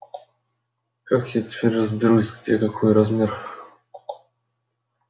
как я теперь разберусь где какой размер